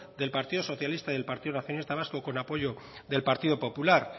del partido socialista y del partido nacionalista vasco con apoyo del partido popular